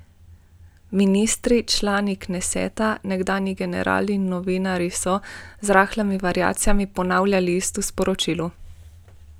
Ministri, člani kneseta, nekdanji generali in novinarji so, z rahlimi variacijami, ponavljali isto sporočilo.